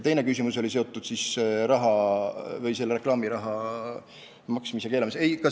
Teine küsimus oli seotud reklaamiraha maksmise keelamisega.